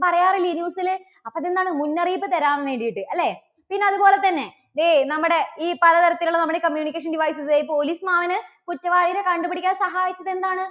പറയാറില്ലേ news ല്? അപ്പോ അത് എന്താണ്? മുന്നറിയിപ്പ് തരാൻ വേണ്ടിയിട്ട് അല്ലേ? പിന്നെ അതുപോലെ തന്നെ ദേ നമ്മുടെ ഈ പലതരത്തിലുള്ള നമ്മുടെ communication devices police മാമന് കുറ്റവാളികളെ കണ്ടു പിടിക്കാൻ സഹായിച്ചത് എന്താണ്